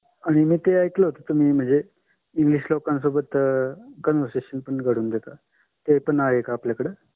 आणि माझा ऐकले म्हणजे असा आहे की तुम्ही इंग्रजी लोकांशी conversation शक्य करता आमच्याकडेही ते आहे.